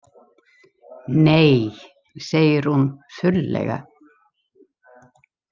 Nei, segir hún þurrlega.